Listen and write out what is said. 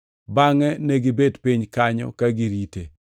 Bangʼe negibet piny kanyo ka girite.